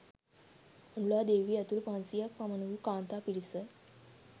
අනුලා දේවිය ඇතුළු පන්සියයක් පමණ වූ කාන්තා පිරිස